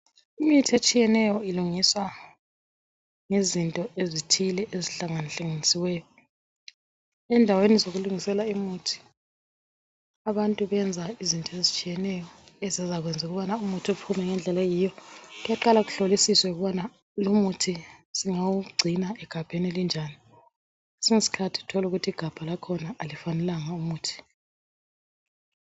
Imithi etshiyeneyo ilungiswa ngezinto ezithile ezihlanga hlanganisiweyo endaweni zokulungisela umuthi abantu benza izinto ezitshiyeneyo ezizakwenza ukuthi umuthi uphume mgendlela oyiwo kuyaqala kuhlolisiswe ukubana lomuthi singawungcina egabheni elinjani kwesinye isikhathi thola ukuthi igabha aliwufanelanga umuthi